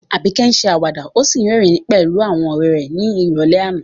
Abike ṣe àwàdà ó sì rẹ́rìn-ín pẹ̀lú àwọn ọ̀rẹ́ rẹ̀ ní ìrọ̀lẹ́ àná.